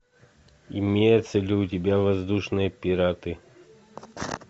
имеется ли у тебя воздушные пираты